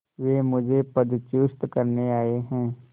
वे मुझे पदच्युत करने आये हैं